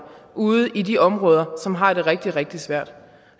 ude i de områder som har det rigtig rigtig svært